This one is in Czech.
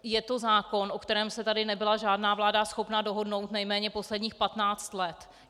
Je to zákon, o kterém se tady nebyla žádná vláda schopná dohodnout nejméně posledních patnáct let.